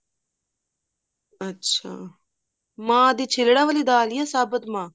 ਅੱਛਾ ਮਾਹ ਦੀ ਛਿੱਲਡਾ ਵਾਲੀ ਦਾਲ ਜਾਂ ਸਾਬਤ ਮਾਹ